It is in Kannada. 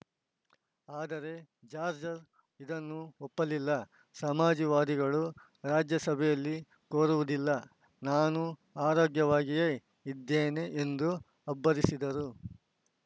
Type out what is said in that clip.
ಆದರೆ ಜಾಜ್‌ರ್ ಇದನ್ನು ಒಪ್ಪಲಿಲ್ಲ ಸಮಾಜವಾದಿಗಳು ರಾಜ್ಯಸಭೆಯಲ್ಲಿ ಕೂರುವುದಿಲ್ಲ ನಾನು ಆರೋಗ್ಯವಾಗಿಯೇ ಇದ್ದೇನೆ ಎಂದು ಅಬ್ಬರಿಸಿದರು